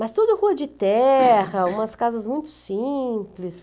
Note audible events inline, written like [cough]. Mas toda rua de terra, [coughs] umas casas muito simples.